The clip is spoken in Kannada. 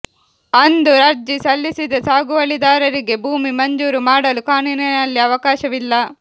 ಅಂದು ಅರ್ಜಿ ಸಲ್ಲಿಸದ ಸಾಗುವಳಿದಾರರಿಗೆ ಭೂಮಿ ಮಂಜೂರು ಮಾಡಲು ಕಾನೂನಿನಲ್ಲಿ ಅವಕಾಶವಿಲ್ಲ